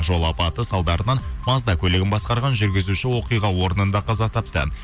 жол апаты салдарынан мазда көлігін басқарған жүргізуші оқиға орнында қаза тапты